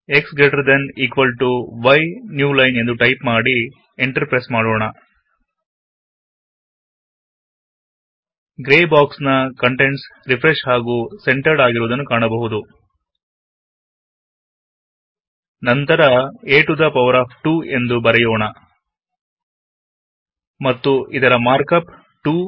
x greater than equal to y new line ಎಂದು type ಮಾಡಿ enter press ಮಾಡಿ grey box ನ contents refresh ಹಾಗು ಸೆಂಟರಡ್ ಆಗಿರುವುದನ್ನು ಕಾಣಬಹುದು ನಂತರ160 a to the power of 2 ಎಂದು ಬರೇಯೋಣ ಮತ್ತು ಇದರ ಮಾರ್ಕಪ್ 2